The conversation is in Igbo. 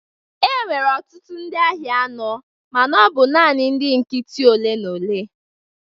Enwere ọtụtụ ndị agha nọ mana ọ bụ naanị ndị nkịtị ole na ole.